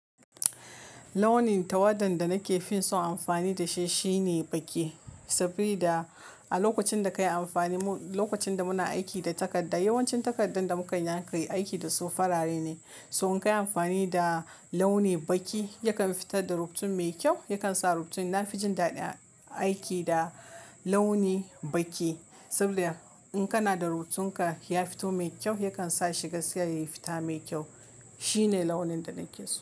Launi tawadan da nake fin so amfani da shi shine baƙi. Sabida a lokacin da ka yi amfani, lokacin da muna aiki da takarda, yawancin takardun da muka yanka yi aiki da su farare ne. So inkai amfani da launi baki yakan fitar da rubutu mai kyau yakan sa rubutu na fi jin daɗin aiki da launi baƙi. Saboda in kana da rubutun ka ya fito mai kyau, yakan sa shiga gaskiya yayi fita mai kyau. Shi ne launin da nake so.